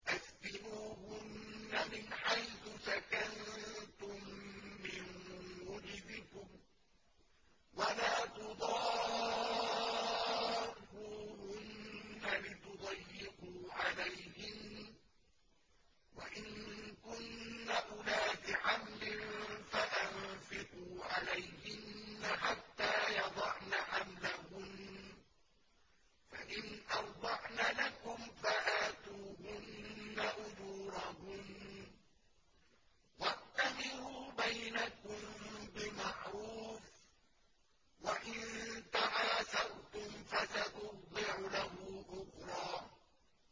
أَسْكِنُوهُنَّ مِنْ حَيْثُ سَكَنتُم مِّن وُجْدِكُمْ وَلَا تُضَارُّوهُنَّ لِتُضَيِّقُوا عَلَيْهِنَّ ۚ وَإِن كُنَّ أُولَاتِ حَمْلٍ فَأَنفِقُوا عَلَيْهِنَّ حَتَّىٰ يَضَعْنَ حَمْلَهُنَّ ۚ فَإِنْ أَرْضَعْنَ لَكُمْ فَآتُوهُنَّ أُجُورَهُنَّ ۖ وَأْتَمِرُوا بَيْنَكُم بِمَعْرُوفٍ ۖ وَإِن تَعَاسَرْتُمْ فَسَتُرْضِعُ لَهُ أُخْرَىٰ